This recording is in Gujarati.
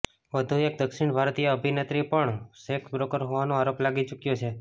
વધુ એક દક્ષિણ ભારતીય અભિનેત્રી પર પણ સેક્સ બ્રોકર હોવાનો આરોપ લાગી ચૂક્યો છે